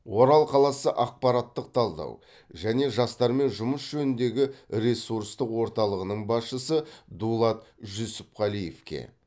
орал қаласы ақпараттық талдау және жастармен жұмыс жөніндегі ресурстық орталығының басшысы дулат жүсіпқалиевке